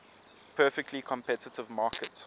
perfectly competitive market